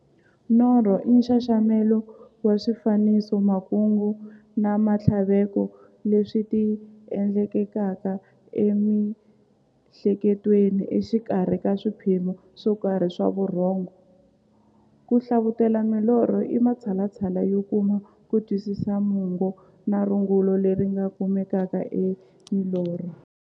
Norho i nxaxamelo wa swifaniso, makungu na minthlaveko leswi ti endlekelaka e mi'hleketweni exikarhi ka swiphemu swokarhi swa vurhongo. Ku hlavutela milorho i matshalatshala yo kuma kutwisisa mungo na rungula leri nga kumekaka eka milorho.